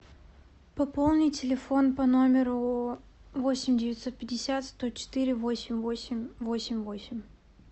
пополни телефон по номеру восемь девятьсот пятьдесят сто четыре восемь восемь восемь восемь